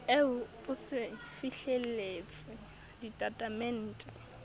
eo o se fihlelletse ditatemente